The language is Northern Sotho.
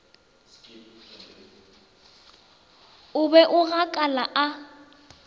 o be a gakala a